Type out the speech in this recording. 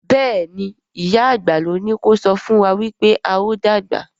Béèni ìyá àgbà ló ní kò sọfún wá wípé ào dàgbà.